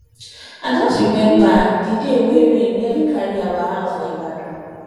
i just rememba di day wey rain nearly carry our house for ibadan